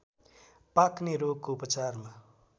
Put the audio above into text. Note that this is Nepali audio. पाक्ने रोगको उपचारमा